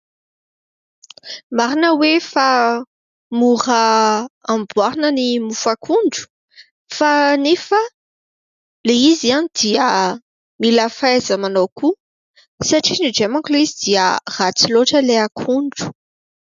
Marina hoe fa mora amboarina ny mofo akondro ; fa nefa ilay izy dia mila fahaiza-manao koa satria indraindray manko ilay izy dia ratsy loatra ilay akondro.